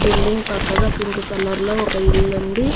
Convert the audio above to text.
Building పక్కగా pink colour లో ఒక ఇల్లు ఉంది.